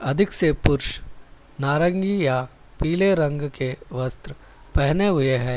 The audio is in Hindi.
नारंगी या पीले रंग के वस्त्र पहने हुए हैं।